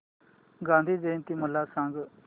गांधी जयंती मला सांग